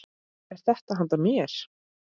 Er þetta handa mér?!